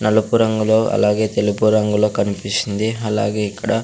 నలుపు రంగులో అలాగే తెలుపు రంగులో కనిపిస్తుంది అలాగే ఇక్కడ.